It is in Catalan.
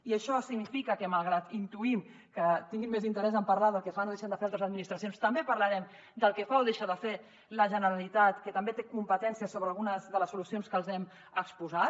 i això significa que malgrat que intuïm que tinguin més interès en parlar del que fan o deixen de fer altres administracions també parlarem del que fa o deixa de fer la generalitat que també té competències sobre algunes de les solucions que els hem exposat